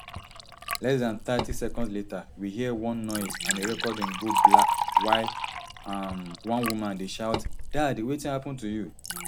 less dan thirty seconds later we hear one noise and di recording go black while um one woman dey shout dad wetin happun to you